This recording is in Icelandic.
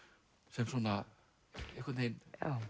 sem svona einhvern veginn